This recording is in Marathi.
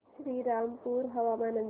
श्रीरामपूर हवामान अंदाज